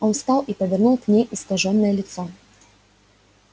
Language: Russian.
он встал и повернул к ней искажённое лицо